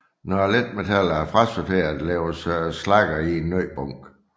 Når letmetallerne er frasorteret lægges slaggerne i en ny bunke